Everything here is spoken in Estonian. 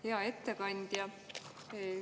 Hea ettekandja!